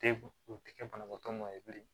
Te u tɛ kɛ banabaatɔ ma ye bilen